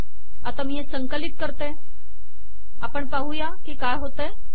आता मी हे संकलित करून आपण पाहूया की काय होते